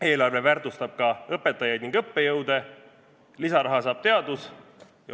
Eelarve väärtustab ka õpetajaid ning õppejõude, lisaraha saab teadus.